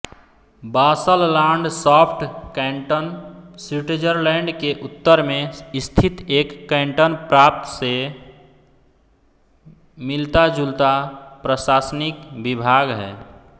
Basel-Landschaft canton Switzerland के उत्तर में स्थित एक कैन्टन प्रान्त से मिलताजुलता प्रशासनिक विभाग है